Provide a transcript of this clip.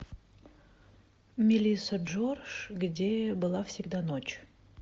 мелисса джордж где была всегда ночь